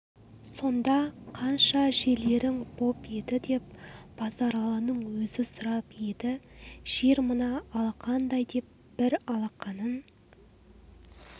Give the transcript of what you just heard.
сонда қанша жерлерің боп еді деп базаралының өзі сұрап еді жер мына алақандай деп бір алақанын